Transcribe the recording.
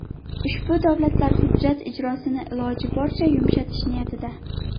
Ushbu davlatlar hujjat ijrosini iloji boricha yumshatish niyatida.